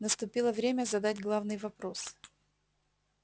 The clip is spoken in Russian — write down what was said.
наступило время задать главный вопрос